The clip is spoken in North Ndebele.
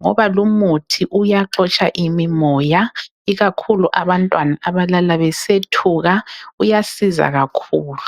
Ngoba lumuthi uyaxotsha imimoya. Ikakhulu abantwana abalala besethuka uyasiza kakhulu